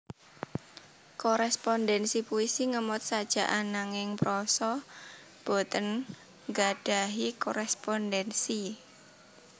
Korespondensi puisi ngemot sajak ananging prosa boten nggadhahi korespondensi